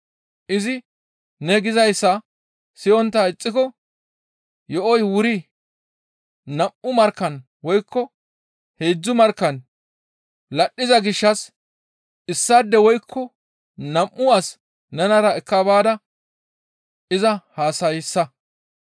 Izi ne gizayssa siyontta ixxiko yo7oy wuri nam7u markkan woykko heedzdzu markkan ladhdhiza gishshas issaade woykko nam7u as nenara ekka baada iza haasayssa.